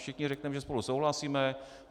Všichni řekneme, že spolu souhlasíme.